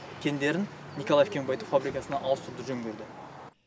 кендерін николаев кен байыту фабрикасына ауыстыруды жөн көрді